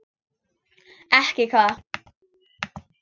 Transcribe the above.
Ekki hvað?